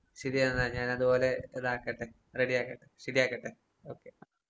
ശരി എന്നാ ഞാൻ അതുപോലെ ഇതാക്കട്ടെ, റെഡി ആക്കട്ടെ ശരി ആക്കട്ടെ. ഓക്കേ.